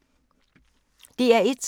DR1